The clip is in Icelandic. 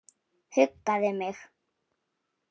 Huggaði mig.